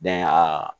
aa